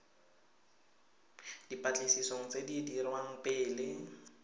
dipatlisisong tse di dirwang pele